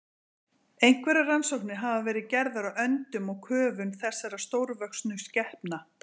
Einhverjar rannsóknir hafa verið gerðar á öndun og köfun þessara stórvöxnu skepna.